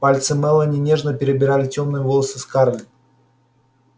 пальцы мелани нежно перебирали тёмные волосы скарлетт